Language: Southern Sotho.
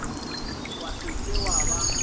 wa se ke wa ba